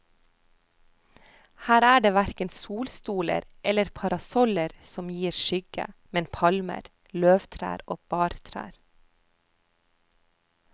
Her er det verken solstoler eller parasoller som gir skygge, men palmer, løvtrær og bartrær.